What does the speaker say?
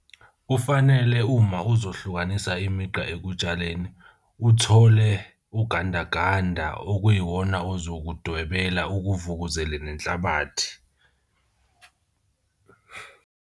Kufanele uma uzohlukanisa imigqa ekutshaleni, uthole ugandaganda okuyiwona ozokudwebela ukuvukuzele nenhlabathi.